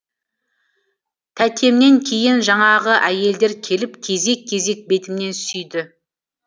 тәтемнен кейін жаңағы әйелдер келіп кезек кезек бетімнен сүйді